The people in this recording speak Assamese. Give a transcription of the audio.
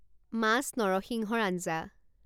মাছ নৰসিংহৰ আঞ্জা